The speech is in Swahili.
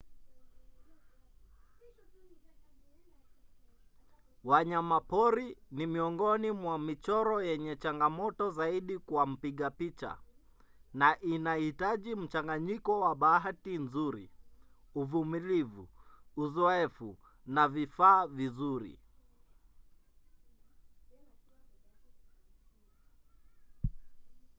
wanyama pori ni miongoni mwa michoro yenye changamoto zaidi kwa mpiga picha na inahitaji mchanganyiko wa bahati nzuri uvumilivu uzoefu na vifaa vizuri